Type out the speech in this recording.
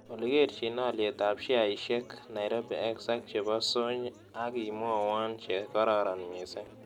Olly kerchin alyetap sheaisiekap nairobi x ak che po sony ak imwawon che kararon miisng'